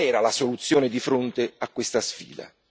Qual era la soluzione di fronte a questa sfida?